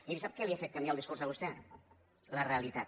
miri sap què li ha fet canviar el discurs a vostè la realitat